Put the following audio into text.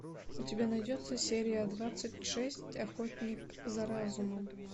у тебя найдется серия двадцать шесть охотник за разумом